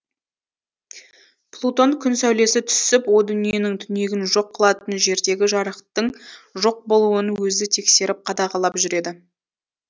плутон күн сәулесі түсіп о дүниенің түнегін жоқ қылатын жердегі жарықтың жоқ болуын өзі тексеріп қадағалап жүреді